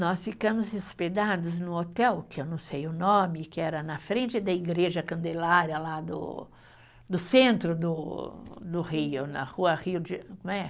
Nós ficamos hospedados num hotel, que eu não sei o nome, que era na frente da Igreja Candelária, lá do do centro do, do Rio, na rua Rio de, como é?